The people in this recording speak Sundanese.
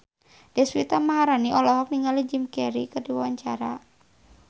Deswita Maharani olohok ningali Jim Carey keur diwawancara